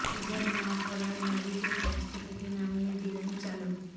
হিজাব না পরায় নারীকে ট্যাক্সি থেকে নামিয়ে দিলেন চালক